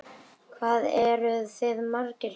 Hvað eruð þið margir hérna?